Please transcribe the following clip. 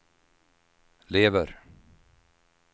lever